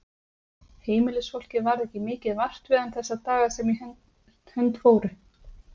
Heimilisfólkið varð ekki mikið vart við hann þessa daga sem í hönd fóru.